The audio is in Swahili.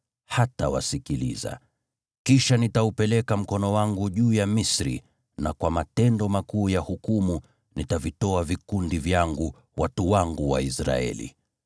hatawasikiliza. Kisha nitaupeleka mkono wangu juu ya Misri, na kwa matendo makuu ya hukumu nitavitoa vikundi vyangu, watu wangu Waisraeli.